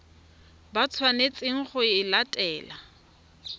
ba tshwanetseng go e latela